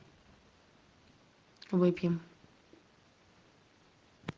выпьем